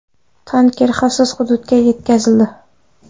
Tanker xavfsiz hududga yetkazildi.